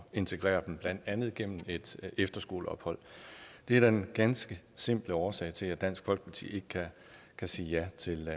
integrere dem blandt andet gennem et efterskoleophold det er den ganske simple årsag til at dansk folkeparti ikke kan sige ja til